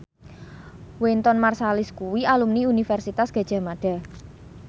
Wynton Marsalis kuwi alumni Universitas Gadjah Mada